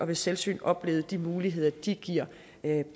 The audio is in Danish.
ved selvsyn oplevet de muligheder de giver